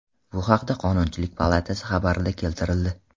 Bu haqda Qonunchilik palatasi xabarida keltirildi .